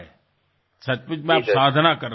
સાચે જ તમે સાધના કરી રહ્યા છો